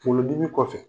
Kunkolodimi kɔfɛ